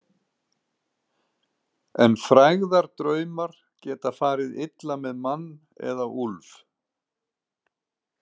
En frægðardraumar geta farið illa með mann, eða úlf.